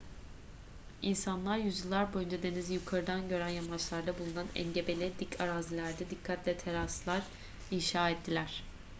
i̇nsanlar yüzyıllar boyunca denizi yukarıdan gören yamaçlarda bulunan engebeli dik arazilerde dikkatle teraslar inşa ettiler